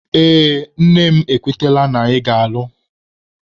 Ee, nne m ekwetela na anyị ga-alụ.